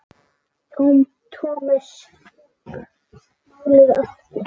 Thomas fékk málið aftur.